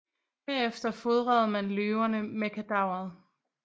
Herefter fodrede man løverne med kadaveret